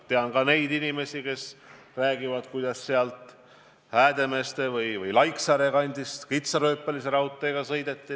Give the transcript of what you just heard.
Tean ka neid inimesi, kes räägivad, kuidas Häädemeeste või Laiksaare kandist kitsarööpmelisel raudteel sõideti.